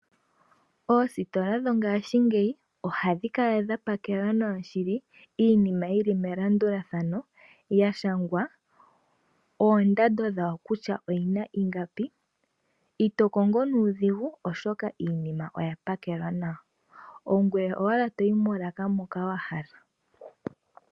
Oositola dho ngaashingeyi ohadhi kala dha pakela nawa shili iinima yili melandulathano ya shangwa oondando dhawo kutya oyina ingapi. Ito kongo nuudhigu oshoka iinima oya pakelwa nawa.